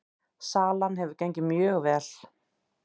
Salan hefur gengið mjög vel